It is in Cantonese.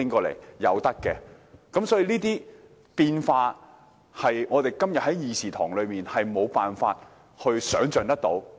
凡此種種的變化，是我們今天在議事堂內無法設想的。